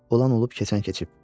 Olan olub keçən keçib.